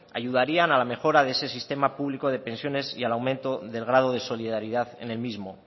ayudarían a la mejora de ese sistema público de pensiones y al aumento del grado de solidaridad en el mismo